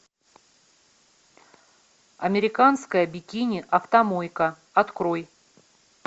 американская бикини автомойка открой